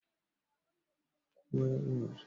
Shin kuna aikata bauta a Indunusiya?